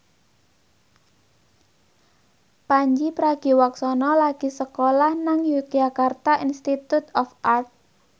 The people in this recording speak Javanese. Pandji Pragiwaksono lagi sekolah nang Yogyakarta Institute of Art